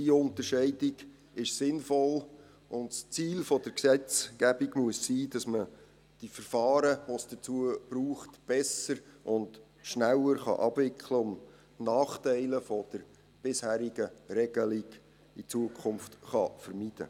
Diese Unterscheidung ist sinnvoll, und das Ziel der Gesetzgebung muss sein, dass man die Verfahren, die es dazu braucht, besser und schneller abwickeln und die Nachteile der bisherigen Regelung zukünftig vermeiden kann.